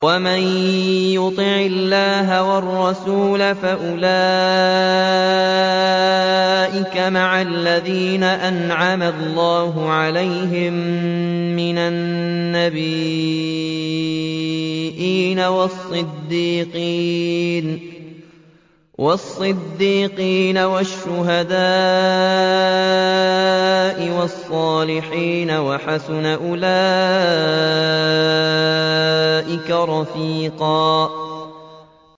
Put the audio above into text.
وَمَن يُطِعِ اللَّهَ وَالرَّسُولَ فَأُولَٰئِكَ مَعَ الَّذِينَ أَنْعَمَ اللَّهُ عَلَيْهِم مِّنَ النَّبِيِّينَ وَالصِّدِّيقِينَ وَالشُّهَدَاءِ وَالصَّالِحِينَ ۚ وَحَسُنَ أُولَٰئِكَ رَفِيقًا